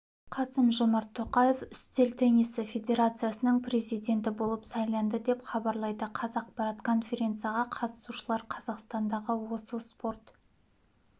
қасым-жомарт тоқаев үстел теннисі федерациясының президенті болып сайланды деп хабарлайды қазақпарат конференцияға қатысушылар қазақстандағы осы спорт